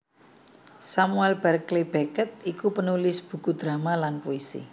Samuel Barclay Beckett iku penulis buku drama lan puisi